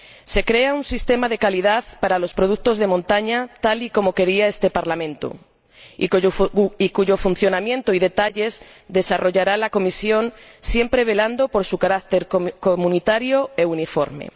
Se crea un sistema de calidad para los productos de montaña, tal y como quería este Parlamento, cuyo funcionamiento y detalles desarrollará la Comisión, siempre velando por su carácter comunitario y uniforme.